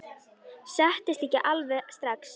Settist ekki alveg strax.